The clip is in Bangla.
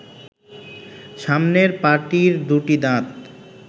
সামনের পাটির দু’টি দাঁত